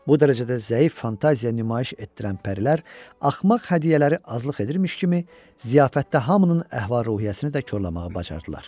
Bu dərəcədə zəif fantaziya nümayiş etdirən pərilər axmaq hədiyyələri azlıq edirmiş kimi ziyafətdə hamının əhval-ruhiyyəsini də korlamağı bacardılar.